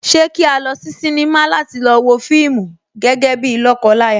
Ṣé kí a lọ sí sinimá láti lọ wo fíìmù gẹ́gẹ́ bíi lọ́kọ láya?